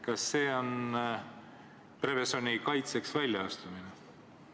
Kas see on Prevezoni kaitseks väljaastumine?